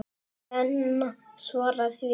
En Lena svaraði því ekki.